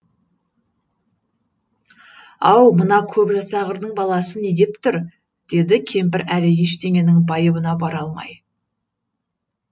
ау мына көп жасағырдың баласы не деп тұр деді кемпір әлі ештеңенің байыбына бара алмай